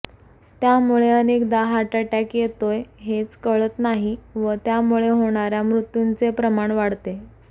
त्यामुळे अनेकदा heart attack येतोय हेच कळत नाही व त्यामुळे होणार्या मृत्यूंचे प्रमाण वाढते